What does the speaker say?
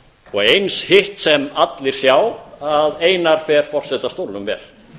og eins hitt sem allir sjá að einar fer forsetastólnum vel